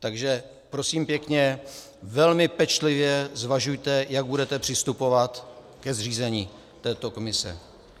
Takže prosím pěkně, velmi pečlivě zvažujte, jak budete přistupovat ke zřízení této komise.